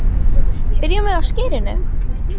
Byrjum við á skyrinu?